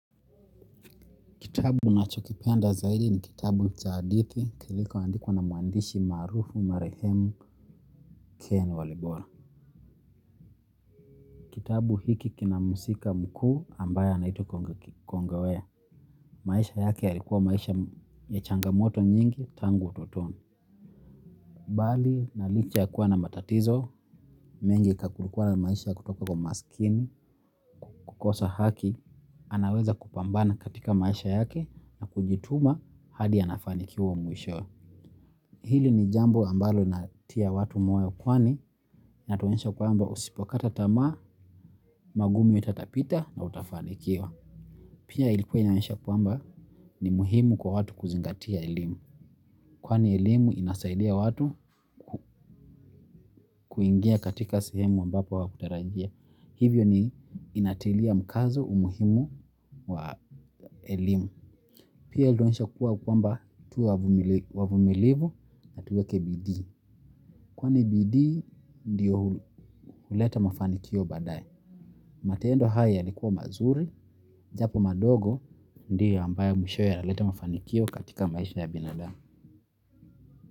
Kitabu nachokipenda zaidi ni kitabu za hadithi kilikuwa andikuwa na muandishi maarufu marahemu ken walibora. Kitabu hiki kinamusika mkuu ambaya anaitwa kongawe. Maisha yake yalikuwa maisha ya changamoto nyingi tangu utotoni. Bali na licha ya kuwa na matatizo, mengi kakurukwana maisha ya kutoka kwa masikini, kukosa haki, anaweza kupambana katika maisha yake na kujituma hadi ya nafanikiwa mwisho. Hili ni jambo ambalo natia watu moyo kwani na tuwensha kwamba usipokata tama, magumi utatapita na utafanikiwa. Pia ilikuwa nionesha kwamba ni muhimu kwa watu kuzingatia ilimu. Kwani elimu inasaidia watu kuingia katika sehemu ambapo wakutarajia. Hivyo ni inatilia mkazo umuhimu wa elimu. Pia iluensha kwamba tu wavumilivu na tuweke Bidii. Kwa ni BD, ndiyo huleta mafanikio baadae. Matendo haya likuwa mazuri, japo madogo, ndiyo ambayo mwishoye laleta mafanikio katika maisha ya binadamu.